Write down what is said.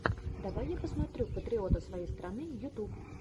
давай я посмотрю патриота своей страны ютуб